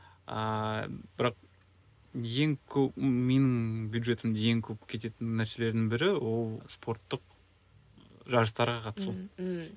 ааа бірақ ең көп менің бюджетімнің ең көп кететін нәрселердің бірі ол спорттық жарыстарға қатысу ммм